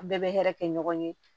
An bɛɛ bɛ hɛrɛ kɛ ɲɔgɔn ye